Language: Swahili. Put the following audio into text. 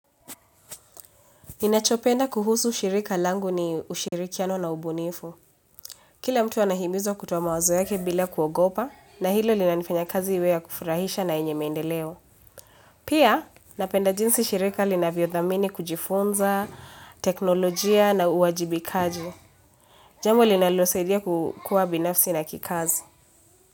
Ninachopenda kuhusu ushirika langu ni ushirikiano na ubunifu. Kila mtu anahimizwa kutowa mawazo yake bila kuogopa na hilo lina nifanya kazi iwe kufurahisha na inye maendeleo. Pia napenda jinsi shirika lina vyodhamini kujifunza, teknolojia na uwajibikaji. Jambo linalo saidia kukua binafsi na kikazi.